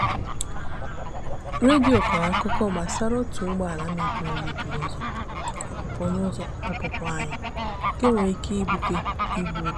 redio kọrọ akụkọ gbasara otu ụgbọala mebiri emebi n'ụzọ ọpụpụ n'ụzọ ọpụpụ anyị nke nwere ike ịbute igbu oge.